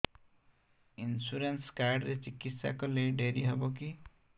insurance card ରେ ଚିକିତ୍ସା କଲେ ଡେରି ହବକି